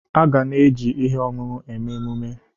Aga na-eji ihe ọṅụṅụ eme emume.